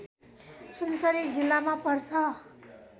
सुनसरी जिल्लामा पर्छ